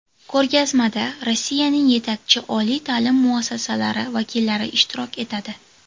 Ko‘rgazmada Rossiyaning yetakchi oliy ta’lim muassasalari vakillari ishtirok etadi.